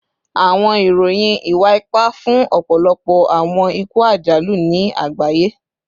Awọn iroyin iwa-ipa fun ọpọlọpọ awọn iku ajalu ni agbaye